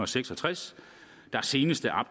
seks og tres der senest er